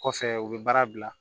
Kɔfɛ u bɛ baara bila